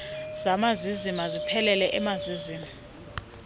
zamazizi maziphelele emazizini